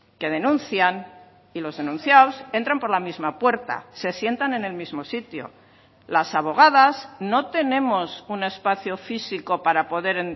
que denuncian y los denunciados entran por la misma puerta se sientan en el mismo sitio las abogadas no tenemos un espacio físico para poder